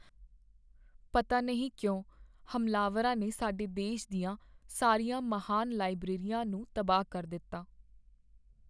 ਪਤਾ ਨਹੀਂ ਕਿਉਂ ਹਮਲਾਵਰਾਂ ਨੇ ਸਾਡੇ ਦੇਸ਼ ਦੀਆਂ ਸਾਰੀਆਂ ਮਹਾਨ ਲਾਇਬ੍ਰੇਰੀਆਂ ਨੂੰ ਤਬਾਹ ਕਰ ਦਿੱਤਾ।